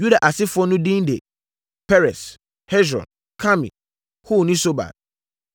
Yuda asefoɔ no bi edin de Peres, Hesron, Karmi, Hur ne Sobal.